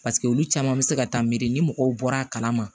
olu caman bɛ se ka taa miiri ni mɔgɔw bɔra a kalama